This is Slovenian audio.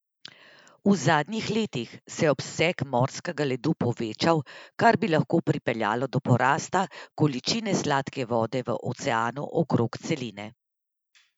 V zadnjih letih se je obseg morskega ledu povečeval, kar bi lahko pripeljalo do porasta količine sladke vode v oceanu okrog celine.